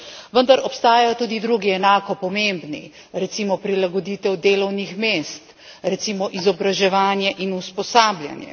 Vendar obstajajo tudi drugi, enako pomembni, recimo prilagoditev delovnih mest, recimo izobraževanje in usposabljanje.